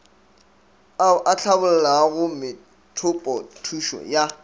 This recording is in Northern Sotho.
ao a hlabollago methopothušo ya